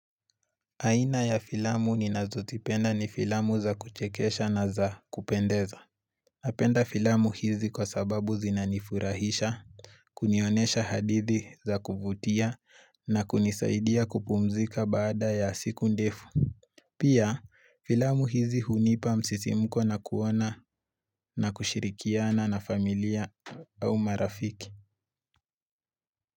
Aina ya filamu ni nazozipenda ni filamu za kuchekesha na za kupendeza. Napenda filamu hizi kwa sababu zinanifurahisha, kunionesha hadithi za kuvutia na kunisaidia kupumzika baada ya siku ndefu. Pia, filamu hizi hunipa msisimuko na kuona na kushirikiana na familia au marafiki.